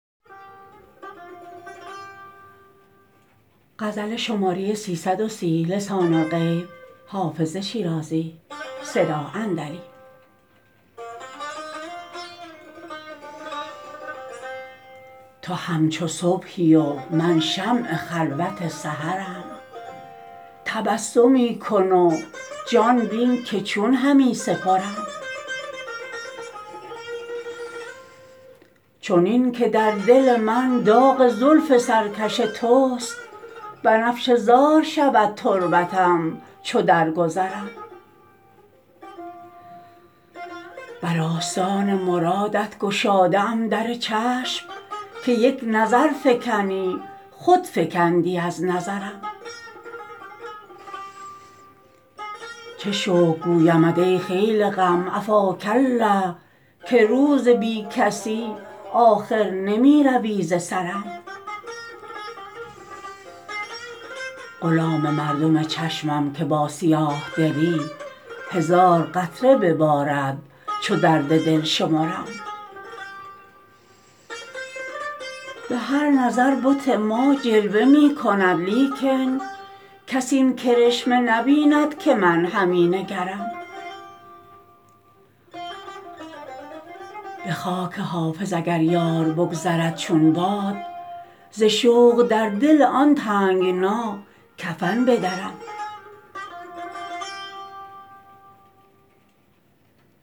تو همچو صبحی و من شمع خلوت سحرم تبسمی کن و جان بین که چون همی سپرم چنین که در دل من داغ زلف سرکش توست بنفشه زار شود تربتم چو درگذرم بر آستان مرادت گشاده ام در چشم که یک نظر فکنی خود فکندی از نظرم چه شکر گویمت ای خیل غم عفاک الله که روز بی کسی آخر نمی روی ز سرم غلام مردم چشمم که با سیاه دلی هزار قطره ببارد چو درد دل شمرم به هر نظر بت ما جلوه می کند لیکن کس این کرشمه نبیند که من همی نگرم به خاک حافظ اگر یار بگذرد چون باد ز شوق در دل آن تنگنا کفن بدرم